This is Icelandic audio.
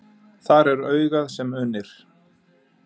Þar er augað sem unir.